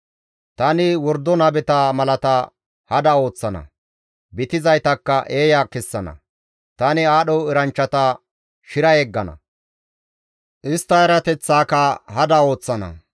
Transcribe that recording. Tani wordo nabeta malata hada ooththana; bitizaytakka eeya kessana. Tani aadho eranchchata shira yeggana; istta erateththaaka hada ooththana.